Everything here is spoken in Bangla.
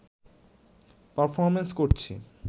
পারফর্মেন্স করছি